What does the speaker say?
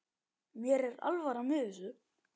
Mér er alvara með þessu.